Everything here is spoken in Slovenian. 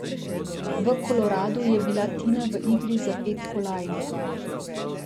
V Koloradu je bila Tina v igri za pet kolajn.